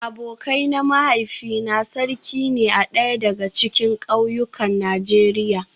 Abokai na mahaifina sarki ne a daya daga cikin kauyukan Najeriya